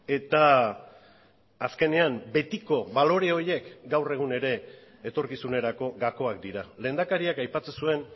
eta azkenean betiko balore horiek gaur egun ere etorkizunerako gakoak dira lehendakariak aipatzen zuen